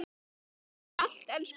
Takk fyrir allt elsku besti.